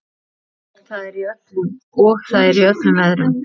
Og það í öllum veðrum.